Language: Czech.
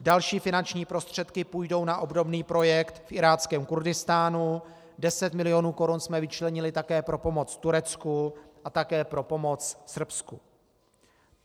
Další finanční prostředky půjdou na obdobný projekt v Iráckém Kurdistánu, 10 milionů korun jsme vyčlenili také pro pomoc Turecku a také pro pomoc Srbsku.